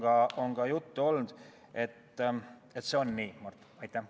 Sellest on ka juttu olnud, et see nii on, Mart.